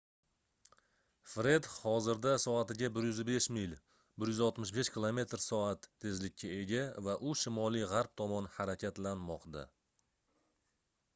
fred hozirda soatiga 105 mil 165 km/s tezlikka ega va u shimoliy-g'arb tomon harakatlanmoqda